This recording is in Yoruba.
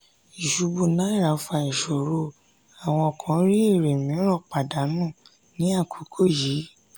ìṣubú owó naira fà ìṣòro àwọn kan rí èrè mìíràn pàdánù ní àkókò yìí.